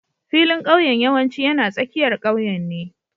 Filin ƙauyen yawanci yana tsakiyar ƙauyen ne